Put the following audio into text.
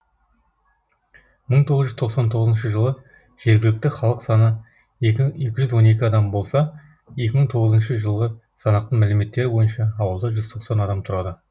мың тоғыз жүз тоқсан тоғызыншы жылы жергілікті халық саны екі мыңыншы жылғы санақтың мәліметтері бойынша ауылда жүз тоқсан адам тұрады